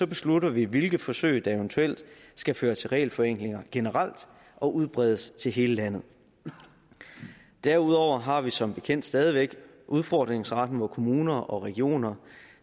beslutter vi hvilke forsøg der eventuelt skal føre til regelforenklinger generelt og udbredes til hele landet derudover har vi som bekendt stadig væk udfordringsretten hvor kommuner og regioner